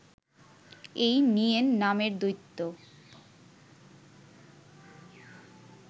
এই নিয়েন নামের দৈত্য